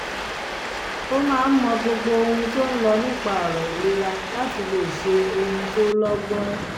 ó máa ń mọ gbogbo ohun tó ń lọ nípa ọ̀rọ̀ ìlera láti lè ṣe ohun tó lọ́gbọ́n